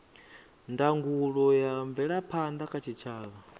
ndangulo ya mvelaphanda kha tshitshavha